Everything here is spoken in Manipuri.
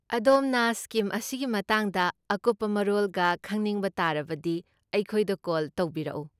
ꯑꯗꯣꯝꯅ ꯁ꯭ꯀꯤꯝ ꯑꯁꯤꯒꯤ ꯃꯇꯥꯡꯗ ꯑꯀꯨꯞꯄ ꯃꯔꯣꯜꯒ ꯈꯪꯅꯤꯡꯕ ꯇꯥꯔꯕꯗꯤ ꯑꯩꯈꯣꯏꯗ ꯀꯣꯜ ꯇꯧꯕꯤꯔꯛꯎ꯫